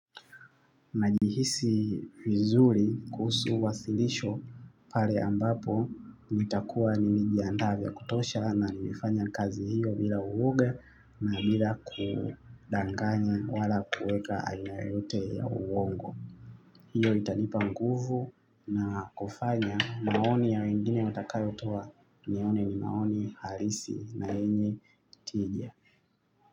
Najihisi vizuri kuhusu wasilisho pare ambapo nitakuwa nimejiandaa vya kutosha na nilifanya kazi hiyo bila uoga na bila kudanganya wala kueka aina yote ya uongo. Hiyo itanipa nguvu na kufanya maoni ya wengine watakayo toa nione ni maoni harisi na yenye tija.